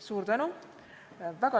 Suur tänu!